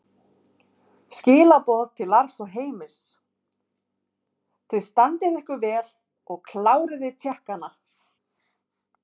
Skilaboð til Lars og Heimis: Þið standið ykkur vel og kláriði Tékkana!